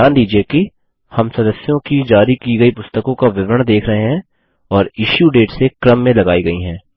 ध्यान दीजिये कि हम सदस्यों की जारी की गयी पुस्तकों का विवरण देख रहे हैं और इश्यू डेट से क्रम में लगायी गयी हैं